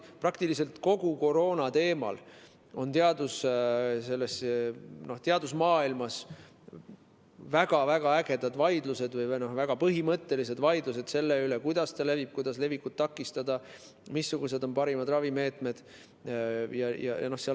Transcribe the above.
Praktiliselt kogu koroonateemal on teadusmaailmas väga-väga ägedad või väga põhimõttelised vaidlused, kuidas ta levib, kuidas levikut takistada, missugused on parimad ravimeetodid.